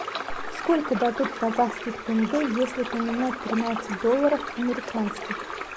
сколько дадут казахских тенге если поменять тринадцать долларов американских